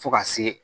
Fo ka se